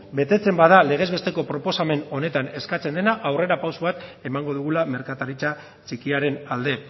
betetzen bada legez besteko proposamen honetan eskatzen dena aurrera pausu bat emango dugula merkataritza txikiaren alde